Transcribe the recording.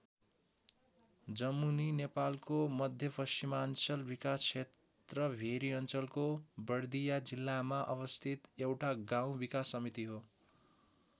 जमुनी नेपालको मध्यपश्चिमाञ्चल विकास क्षेत्र भेरी अञ्चलको बर्दिया जिल्लामा अवस्थित एउटा गाउँ विकास समिति हो।